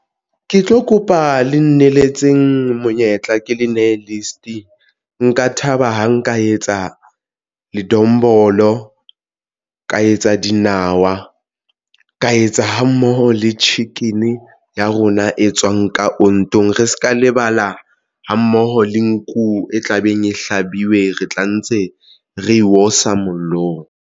Ke tlo kopa le nneletseng monyetla ke le nehe list nka thaba ha nka etsa ledombolo ka etsa dinawa ka etsa hammoho le chicken ya rona e tswang ka ontong. Re se ka lebala ha mmoho le nku e tlabeng e hlabiwe re tla ntse re osa mollong.